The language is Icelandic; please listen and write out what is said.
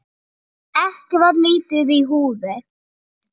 Ekki var lítið í húfi.